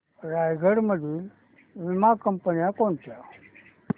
रायगड मधील वीमा कंपन्या कोणत्या